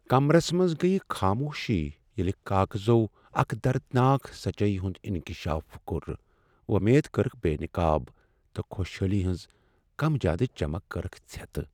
کمرس منٛز گٔیۍ خاموشی ییلِہ کاغذَو اکھ دردناک سچٲیی ہُند انکشاف کوٚر، وۄمیدٕ کرکھ بے نقاب تہٕ خوشحٲلی ہٕنز کم جاد چمک کٔرکھ ژھٮ۪تہٕ ۔